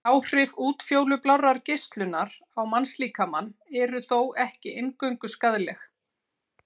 Áhrif útfjólublárrar geislunar á mannslíkamann eru þó ekki eingöngu skaðleg.